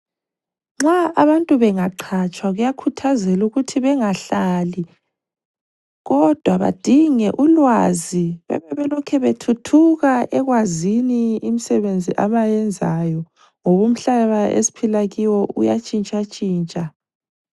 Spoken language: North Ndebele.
Nxa abantu bengaqhatshwa kuyakhuthazelwa ukuthi bengahlali kodwa badinge ulwazi bebelokhe bethuthuka ekwazini imsebenzi abayenzayo ngoba umhlaba esiphila kiwo uyatshintshatshintsha.